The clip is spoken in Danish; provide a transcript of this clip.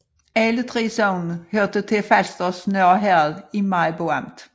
Alle 3 sogne hørte til Falsters Nørre Herred i Maribo Amt